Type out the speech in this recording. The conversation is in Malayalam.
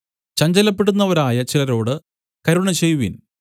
ചഞ്ചലപ്പെടുന്നവരായ ചിലരോട് കരുണ ചെയ്‌വിൻ